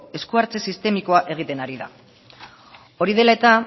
esku hartze sistemikoa egiten ari da hori dela eta